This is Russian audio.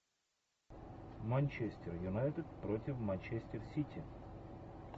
манчестер юнайтед против манчестер сити